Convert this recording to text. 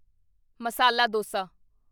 masala dosa